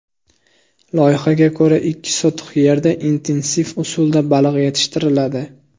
Loyihaga ko‘ra, ikki sotix yerda intensiv usulda baliq yetishtiriladi.